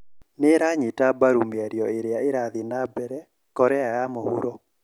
Nĩranyita mbaru mĩario ĩria ĩrathii na mbere Korea ya mũhuro